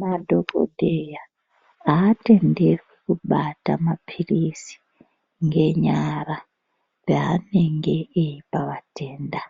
Madhokodheya haatenderwi kubata mapirisi ngenyara yaanenge ape vatenda